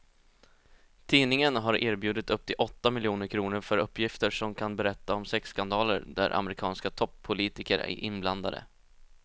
Tidningen har erbjudit upp till åtta miljoner kr för uppgifter som kan berätta om sexskandaler där amerikanska toppolitiker är inblandade.